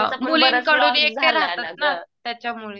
मुलींकडून एकटे राहतात ना, त्याच्यामुळे.